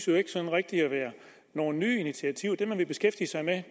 jo ikke sådan rigtig at være nogen nye initiativer det man vil beskæftige sig med